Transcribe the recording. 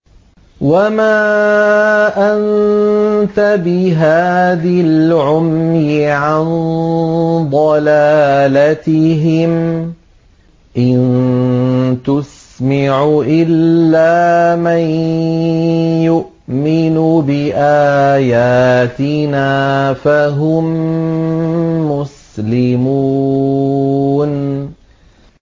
وَمَا أَنتَ بِهَادِي الْعُمْيِ عَن ضَلَالَتِهِمْ ۖ إِن تُسْمِعُ إِلَّا مَن يُؤْمِنُ بِآيَاتِنَا فَهُم مُّسْلِمُونَ